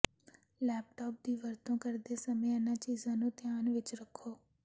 laptop ਦੀ ਵਰਤੋਂ ਕਰਦੇ ਸਮੇਂ ਇਨ੍ਹਾਂ ਚੀਜ਼ਾਂ ਨੂੰ ਧਿਆਨ ਵਿੱਚ ਰੱਖੋ